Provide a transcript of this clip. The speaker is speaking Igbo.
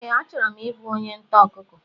Ee, achọrọ m ịbụ onye ntà ọkụkọ